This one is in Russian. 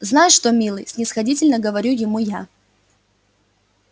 знаешь что милый снисходительно говорю ему я